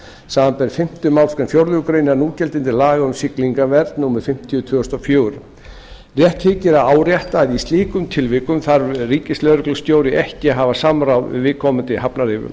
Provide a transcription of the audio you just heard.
samanber fimmtu málsgrein fjórðu grein núgildandi laga um siglingavernd númer fimmtíu tvö þúsund og fjögur rétt þykir að árétta að í slíkum tilvikum þarf ríkislögreglustjóri ekki að hafa samráð við viðkomandi hafnaryfirvöld